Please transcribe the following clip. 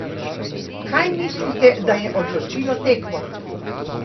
Kaj mislite, da je odločilo tekmo?